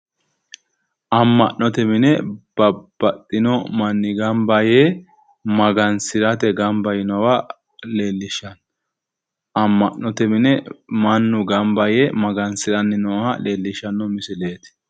Amma'note mine babbaxxino manni gamba yee magansirate gamba yiinowa leellishshanno. Amma'note mine mannu gamba yee magansiranni nooha leellishshanno misileet.